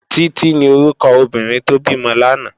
Titi ni órúkò óbìrín tó bimò làná